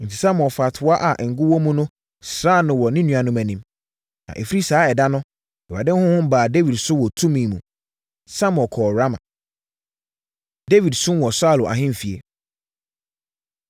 Enti, Samuel faa toa a ngo wɔ mu no sraa no wɔ ne nuanom anim. Na, ɛfiri saa ɛda no, Awurade honhom baa Dawid so wɔ tumi mu. Samuel kɔɔ Rama. Dawid Som Wɔ Saulo Ahemfie